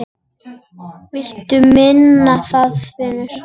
Viltu muna það, vinur?